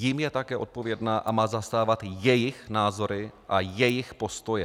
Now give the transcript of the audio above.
Jim je také odpovědna a má zastávat jejich názory a jejich postoje.